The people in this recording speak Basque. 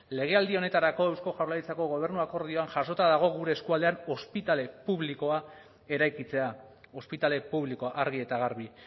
legealdi honetarako eusko jaurlaritzako gobernu akordioan jasota dago gure eskualdean ospitale publikoa eraikitzea ospitale publikoa argi eta garbi